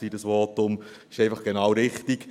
Es ist einfach genau richtig.